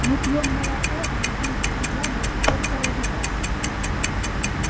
мы пьём молоко и едим эти яблоки только ради вас